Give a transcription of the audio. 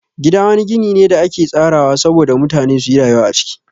Gida wani gini ne da ake tsarawa sabo da mutane suyi rayuwa a ciki